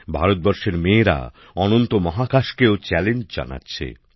ভারতবর্ষের মেয়েরা অনন্ত মহাকাশকেও চ্যালেঞ্জ জানাচ্ছে